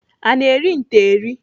Ana eri nte eri?